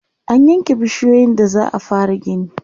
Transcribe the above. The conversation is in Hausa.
an yanke bishiyoyin da za'a fara gini